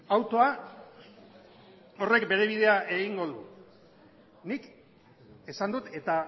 autoa horrek bere bidea egingo du nik esan dut eta